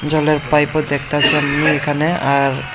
জলের পাইপ -ও দেখতাছি আমি এখানে আর --